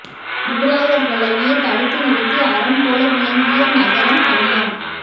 முகலாயர்களையே தடுத்து நிறுத்தி அரண் போல விளங்கிய நகரம் கல்யாண்